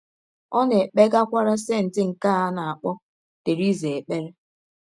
Ọ na - ekpegakwara “ senti ” nke a na - akpọ Theresa ekpere.